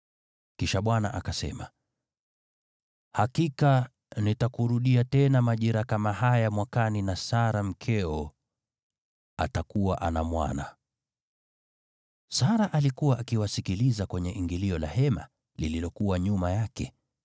Kisha Bwana akasema, “Hakika nitakurudia tena majira kama haya mwakani na Sara mkeo atakuwa ana mwana.” Sara alikuwa akiwasikiliza kwenye ingilio la hema, lililokuwa nyuma yake.